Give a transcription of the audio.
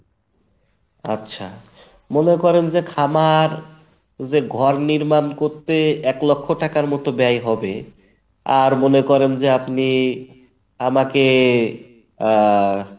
আচ্ছা মনে করেন যে খামার যে ঘর নির্মাণ করতে এক লক্ষ টাকার মতো ব্যয় হবে আর মনে করেন যে আপনি আমাকে আহ